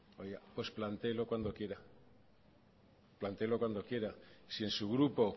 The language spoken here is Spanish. oiga pues plantéelo cuando quiera plantéelo cuando quiera si en su grupo